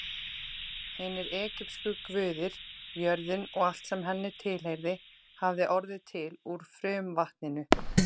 Hinir egypsku guðir, jörðin og allt sem henni tilheyrði, hafði orðið til úr frumvatninu.